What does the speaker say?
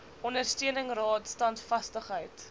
ondersteuning raad standvastigheid